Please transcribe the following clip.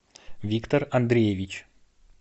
виктор андреевич